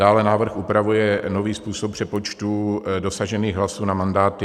Dále návrh upravuje nový způsob přepočtu dosažených hlasů na mandáty.